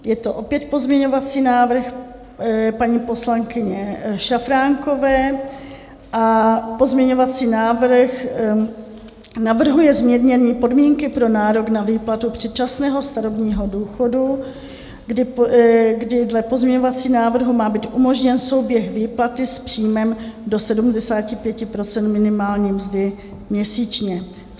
Je to opět pozměňovací návrh paní poslankyně Šafránkové a pozměňovací návrh navrhuje zmírnění podmínky pro nárok na výplatu předčasného starobního důchodu, kdy dle pozměňovacího návrhu má být umožněn souběh výplaty s příjmem do 75 % minimální mzdy měsíčně.